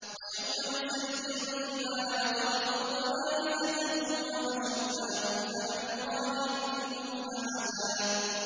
وَيَوْمَ نُسَيِّرُ الْجِبَالَ وَتَرَى الْأَرْضَ بَارِزَةً وَحَشَرْنَاهُمْ فَلَمْ نُغَادِرْ مِنْهُمْ أَحَدًا